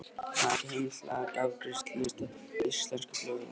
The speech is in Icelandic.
Hafði ekki heimild til að aka að afgreiðslustað íslensku flugvélarinnar innan vallar.